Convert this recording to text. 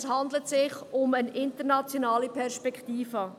Es handelt sich um eine internationale Perspektive.